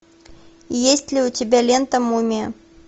есть ли у тебя лента мумия